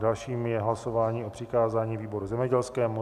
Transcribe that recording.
Dalším je hlasování o přikázání výboru zemědělskému.